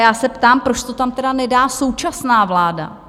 Já se ptám, proč to tam teda nedá současná vláda?